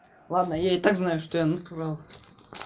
ладно я и так знаю что я натурал